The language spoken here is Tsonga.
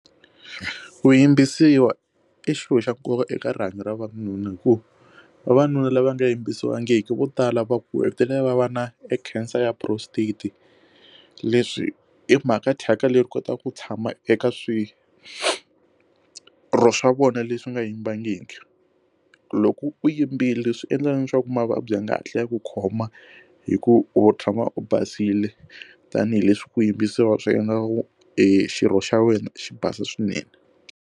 Ku yimbisiwa i xilo xa nkoka eka rihanyo ra vavanuna hikuva vavanuna lava nga yimbisiwangiki vo tala va hetelela va va na e cancer ya prostate leswi hi mhaka thyaka leyi kotaka ku tshama eka swirho swa vona leswi nga yimbangiki loko u yimbile swi endla leswaku mavabyi ya nga hatli ya ku khoma hi ku u tshama u basile tanihileswi ku yimbisiwa swi endla ku xirho xa wena xi basa swinene.